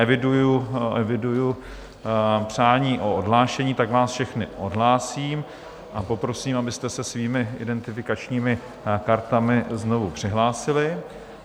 Eviduji přání o odhlášení, tak vás všechny odhlásím a poprosím, abyste se svými identifikačními kartami znovu přihlásili.